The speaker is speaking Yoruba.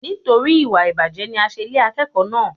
Nítorí ìwà ìbàjẹ́ ni a ṣe lé akẹ́kọ̀ọ́ náà.